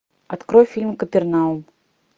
открой фильм капернаум